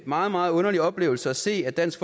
meget meget underlig oplevelse at se at dansk